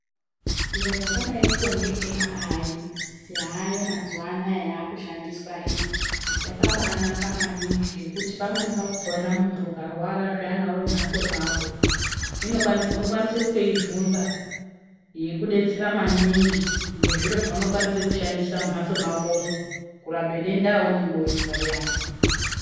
Zviro zvakadaiko ngeAI yaayo mazuva anaya yakushandiswa iyi yakabaanaka maningi ngekuti pamweni pakhona muntu ukarwara zviyana uri mumhatso mwako ,unokwanisa kutoibvunza yokudetsera maningi ngezviro zvaunokwanisa kushandise mumphatso mwakomo kurape denda raunenge weizwa riyana.